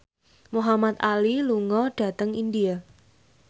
Muhamad Ali lunga dhateng India